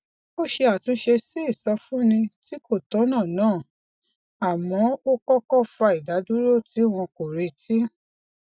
ó ṣe àtúnṣe sí ìsọfúnni tí kò tọnà náà àmọ ó kókó fa ìdádúró tí wọn kò retí